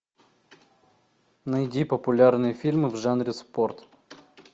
найди популярные фильмы в жанре спорт